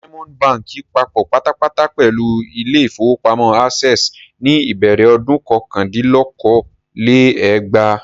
Diamond Báńkì papọ̀ pátápátá pẹ̀lú ilé-ìfowópamọ́sí Access ní ìbẹ̀rẹ̀ ọdún kọkàndínlókòó-lé-ẹgbàá.